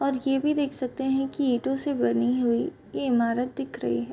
और ये भी देख सकते हैं की ईंटों से बनी हुई ये ईमारत दिख रही है।